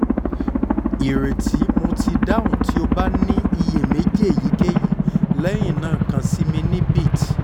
ireti mo ti dahun ti o ba ni iyemeji eyikeyi lẹhinna kan si mi ni bit